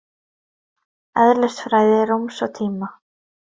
Eðlisfræði rúms og tíma.